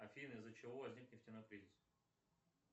афина из за чего возник нефтяной кризис